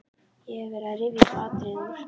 Ég hef verið að rifja upp atriði úr